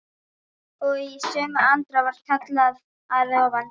Og í sömu andrá var kallað að ofan.